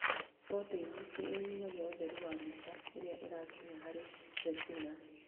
Proteini nĩ inyihagia ũtheri wa mbica ĩrĩa ĩrakinya harĩ retina